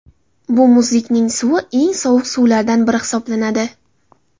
Bu muzlikning suvi eng sovuq suvlardan biri hisoblanadi.